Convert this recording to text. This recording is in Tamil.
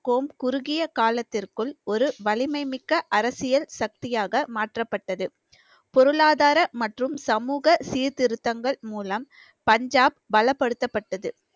கோம் குறுகிய காலத்திற்குள் ஒரு வலிமை மிக்க அரசியல் சக்தியாக மாற்றப்பட்டது பொருளாதார மற்றும் சமூக சீர்திருத்தங்கள் மூலம் பஞ்சாப் பலப்படுத்தப்பட்டது